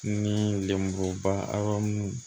Ni lemuruba mun